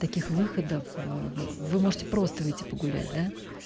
таких выходов вы можете просто выйти погулять да